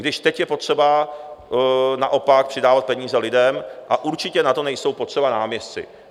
Když teď je potřeba naopak přidávat peníze lidem a určitě na to nejsou potřeba náměstci.